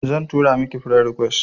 Zan tura miki friend request